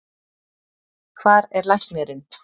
Hvar er læknirinn?